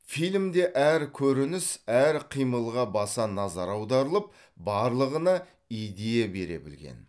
фильмде әр көрініс әр қимылға баса назар аударылып барлығына идея бере білген